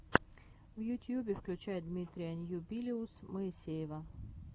в ютьюбе включай дмитрия ньюбилиус моисеева